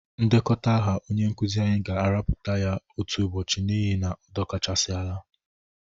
Ndekọta aha onye nkụzị anyị ga-arapụta ya otu ụbọchị n'ihi na ọ dọkasịchala.